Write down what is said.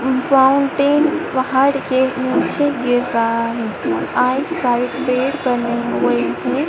पहाड़ के नीचे बने हुए हैं।